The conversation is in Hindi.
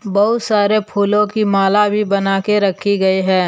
बहुत सारे फूलों की माला भी बना के रखी गई है।